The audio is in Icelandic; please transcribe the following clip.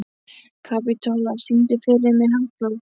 Kapitola, syngdu fyrir mig „Háflóð“.